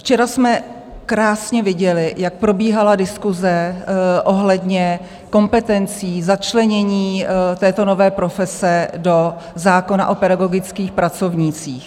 Včera jsme krásně viděli, jak probíhala diskuse ohledně kompetencí začlenění této nové profese do zákona o pedagogických pracovnících.